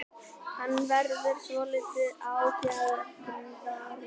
Hann verður svolítið ágengari.